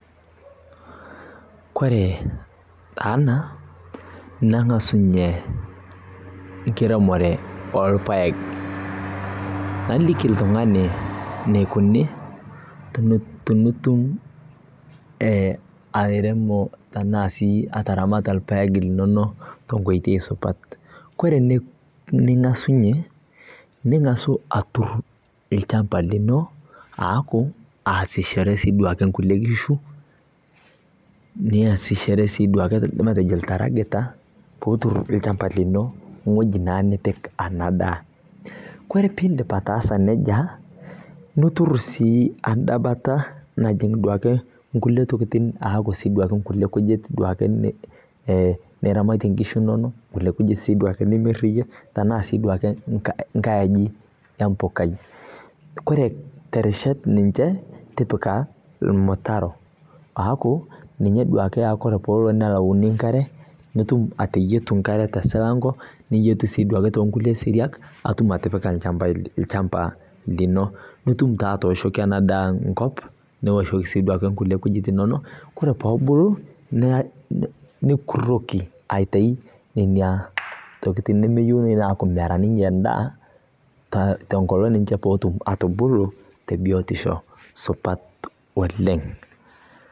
Kore ena, neng'asunye enkiremore olpaek, naliki oltung'ani eneikuni tinitum sii airemo anaa ataramata ilpaek linono te nkoitoi supat. Ore tening'asunye, ningasu atur ilchamba lino aaku aasishore sii duo ake, inkulie kishu, niasishore sii duo akeatejo oltrakita peetur olchamba lino o ewueji naa nipik ena daa. Kore pee indip ataasa neija, nituru sii enda bata najing' duake inkulie tokitin aaku kulie kujit duo ake niramatie inkishu inono, arashu sii duake nimir iyie, tanaa sii duo ake enkai aji e mpokai. Kore terishat e ninche tipika olmutaro, aaku, ninye duo ake oaku tenelo nelauni enkare, nitum ateyitu enkare te silanko, niyietu sii duake too nkulie siriat, nitum atipika olchamba lino. Nitum taa atooshoki ena daa enkop nioshoki sii duo ake nkulie kujit inono, Kore pee ebulu nikuroki aitayu nena tokitin nemeyiou naa neaku taa ninche tenkolong' pee etum ninche atubulu te biotisho sidai oleng'.